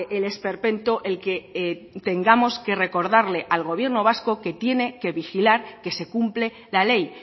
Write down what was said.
el esperpento el que tengamos que recordarle al gobierno vasco que tiene que vigilar que se cumple la ley